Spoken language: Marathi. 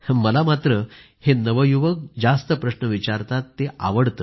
मला मात्र हे नवयुवक जास्त प्रश्न विचारतात ते आवडतं